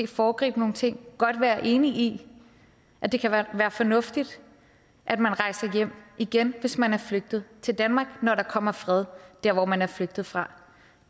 foregribe nogle ting godt være enig i at det kan være fornuftigt at man rejser hjem igen hvis man er flygtet til danmark når der kommer fred der hvor man er flygtet fra